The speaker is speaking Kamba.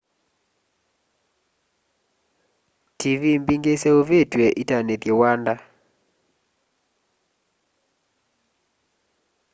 tiivii mbingî iseûvîtw'e itanîthye wanda